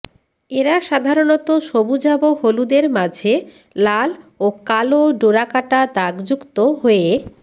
এরা সাধারণত সবুজাভ হলুদের মাঝে লাল ও কালো ডোরাকাটা দাগযুক্ত হয়ে